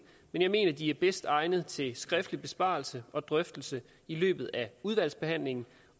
men jeg mener de er bedst egnede til skriftlig besvarelse og drøftelse i løbet af udvalgsbehandlingen